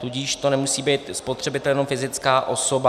Tudíž to nemusí být spotřebitel jenom fyzická osoba.